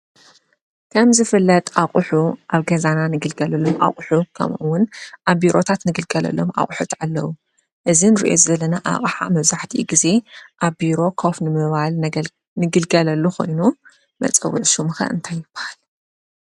ከምዝፍለጥ አቑሑ አብ ገዛና ንግልገለሎም አቐሑት ከምኡ’ውን አብ ቢሮታትና ንግልገለሎም አቑሑት አለው፡፡ እዚ እንሪኦ ዘለና አቅሓ መብዛሕትኡ ግዜ አብ ቢሮ ኮፍ ንምባል ንግልገለሉ ኮይኑ፤ መፀውዒ ሹሙ ኸ እንታይ ይበሃል?